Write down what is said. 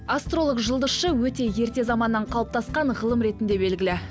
астролог жұлдызшы өте ерте заманнан қалыптасқан ғылым ретінде белгілі